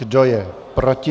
Kdo je proti?